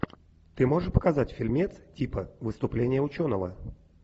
ты можешь показать фильмец типа выступление ученого